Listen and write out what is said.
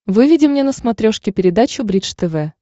выведи мне на смотрешке передачу бридж тв